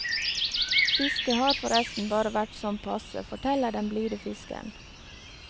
Fisket har forresten bare vært sånn passe, forteller den blide fiskeren.